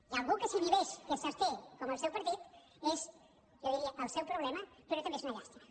i algú que s’inhibeix que s’absté com el seu partit és jo diria el seu problema però també és una llàstima